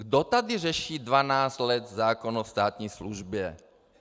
Kdo tady řeší dvanáct let zákon o státní službě?